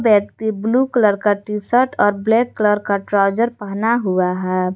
व्यक्ति blue colour का T shirt और ब्लैक कलर का ट्राउजर पहना हुआ है।